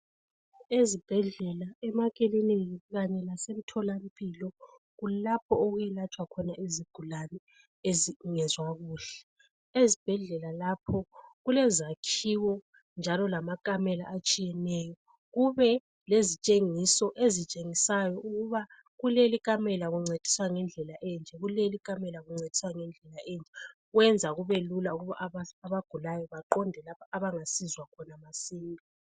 Ezibhedlela, emakiliniki kanye lasemtholampilo, kulapho okwelatshwa khona izigulane ezingezwa kuhle. Ezibhedlela lapho ku lezakhiwo njalo lamakamela atshiyeneyo kube lezitshengiso ezitshengisayo ukuba kuleli kamela kuncediswa ngendlela enje, kuleli kamela kuncediswa ngendlela enje, kwenza kube lula ukuba abagulayo baqonde lapha abangasizwa khona masinya.